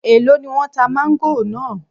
Èló ni wọ́n tá máńgò náà?